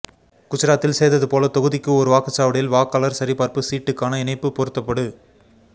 குஜராத்தில் செய்ததுபோல தொகுதிக்கு ஒரு வாக்குச்சாவடியில் வாக்காளர் சரிபார்ப்பு சீட்டுக்கான இணைப்பு பொருத்தப்படு